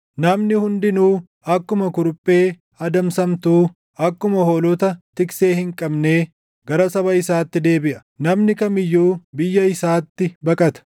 Namni hundinuu akkuma kuruphee adamsamtuu, akkuma hoolota tiksee hin qabnee gara saba isaatti deebiʼa; namni kam iyyuu biyya isaatti baqata.